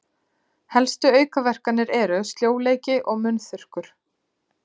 Helstu aukaverkanir eru sljóleiki og munnþurrkur.